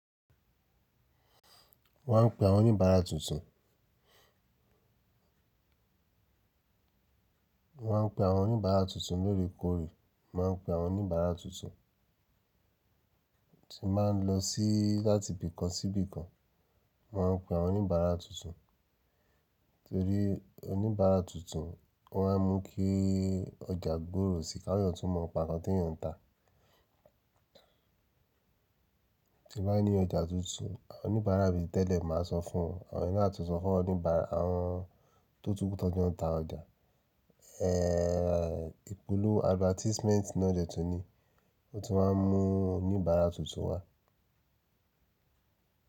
Wọ́n ń pe àwọn oníbàárà tuntun, wọ́n ń pe àwọn oníbàárà tuntun lóore kóòrè, mon ma ń pe àwọn oníbàárà tuntun tí máa ń lọ sí láti ibì kan sí ibì kan, Mo ma ń pe àwọn oníbàárà tuntun torí oníbàárà tuntun, wọ́n á mú kí ọjà gbòòrò sí ká yàn tun mọ pa nkan tí eyàn ń tà. Tí ba ní ọjà tuntun, àwọn oníbàárà mi tẹ́lẹ̀ máa sọ fún won àwọn na atun sọ fún oníbàárà àwọn tó tún kún tó jẹ́ wọ́n ń ta ọjà, ipòlú advertisement náà de tuní, ó tún máa ń mú oníbàárà tuntun wá.